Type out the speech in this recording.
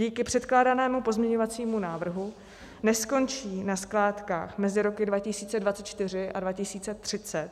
Díky předkládanému pozměňovacímu návrhu neskončí na skládkách mezi roky 2024 a 2030